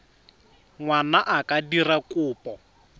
ngwana a ka dira kopo